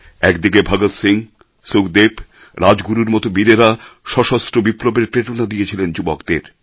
এক দিকে ভগৎ সিং সুখদেব রাজগুরুর মত বীরেরা সশস্ত্র বিপ্লবের প্রেরণা দিয়েছিলেন যুবকদের